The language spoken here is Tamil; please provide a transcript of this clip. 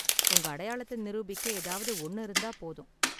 உங்க அடையாளத்த நிரூபிக்க ஏதாவது ஒன்னு இருந்தா போதும்.